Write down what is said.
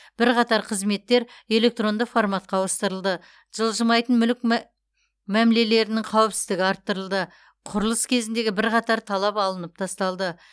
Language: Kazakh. бірқатар қызметтер электронды форматқа ауыстырылды жылжымайтын мүлік мәмілелерінің қауіпсіздігі арттырылды құрылыс кезіндегі бірқатар талап алынып тасталды